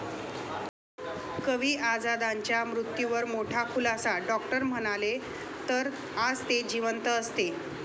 कवी आझादांच्या मृत्यूवर मोठा खुलासा, डॉक्टर म्हणाले '...तर आज ते जिवंत असते'